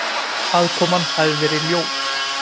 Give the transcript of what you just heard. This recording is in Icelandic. Aðkoman hafi verið ljót